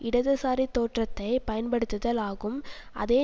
இடதுசாரி தோற்றத்தை பயன்படுத்துதல் ஆகும் அதே